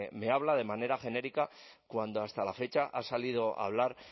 me habla de manera genérica cuando hasta la fecha ha salido a hablar